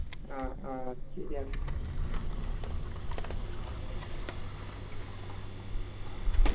ആ ആ അത് ശരിയാ